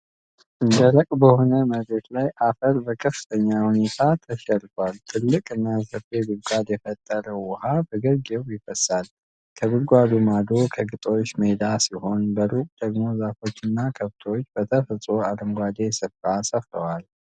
ደረቅ በሆነ መሬት ላይ አፈር በከፍተኛ ሁኔታ ተሸርፏል። ጥልቅ እና ሰፊ ጉድጓድ የፈጠረው ውሃ በግርጌው ይፈሳል። ከጉድጓዱ ማዶ የግጦሽ ሜዳ ሲሆን፣ በሩቁ ደግሞ ዛፎች እና ከብቶች በተፈጥሮ አረንጓዴው ስፍራ ሰፍረዋል።